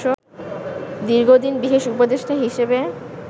দীর্ঘদিন বিশেষ উপদেষ্টা হিসেবে